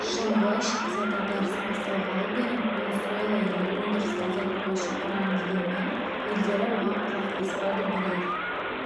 жылғы шикізат дағдарысы басталғалы бері венесуэла елі өндірісті азайтуға шақырған дегенмен елдері оған құлақ аспады бірер